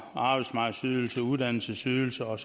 arbejdsmarkedsydelse uddannelsesydelse og